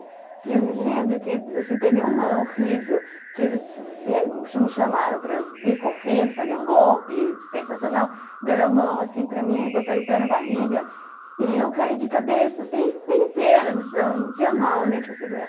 E eu me lembro que teve uma horrível que eles me chamaram para eu vir correndo, fazer um golpe sensacional, deram a mão assim para mim, botaram o pé na barriga e eu caí de cabeça assim inteira no chão, não tinha mão nem para segurar.